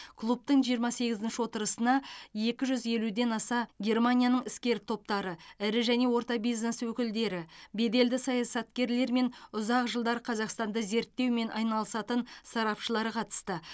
клубтың жиырма сегізінші отырысына екі жүз елуден аса германияның іскер топтары ірі және орта бизнес өкілдері беделді саясаткерлер мен ұзақ жылдар қазақстанды зерттеумен айналысатын сарапшылар қатысты